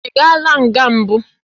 Ị gaala nga mbụ?